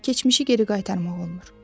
Amma keçmişi geri qaytarmaq olmur.